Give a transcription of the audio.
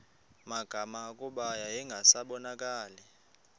magama kuba yayingasabonakali